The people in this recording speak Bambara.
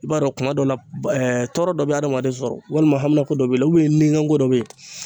I b'a dɔn kuma dɔ la tɔɔrɔ dɔ bɛ adamaden sɔrɔ walima hamiko dɔ bɛ yen nikanko dɔ bɛ yen